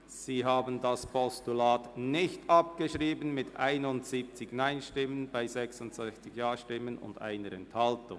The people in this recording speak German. Sie haben das Postulat nicht abgeschrieben bei 71 Nein- zu 66 Ja-Stimmen und 1 Enthaltung.